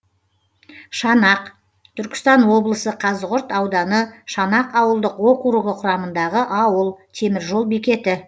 шанақ түркістан облысы қазығұрт ауданы шанақ ауылдық округі құрамындағы ауыл темір жол бекеті